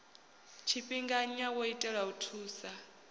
tshifhinganya wo itelwa u thusa